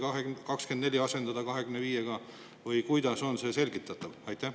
Kas see 2024 tuleks asendada 2025-ndaga või kuidas on see selgitatav?